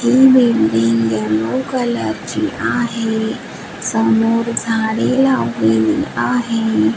ही building yellow colour ची आहे समोर झाडे लावलेली आहे.